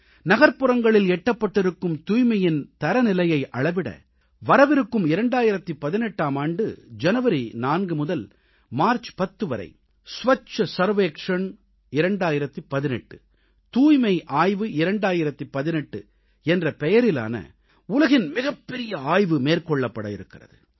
நகர்ப்புறப்பகுதிகளில் எட்டப்பட்டிருக்கும் தூய்மையின் தரநிலையை அளவிட வரவிருக்கும் 2018ஆம் ஆண்டு ஜனவரி 4 முதல் மார்ச் 10 வரை स्वच्छ सर्वेक्षूण 2018 தூய்மை ஆய்வு 2018 என்ற பெயரிலான உலகின் மிகப்பெரிய ஆய்வு மேற்கொள்ளப்பட இருக்கிறது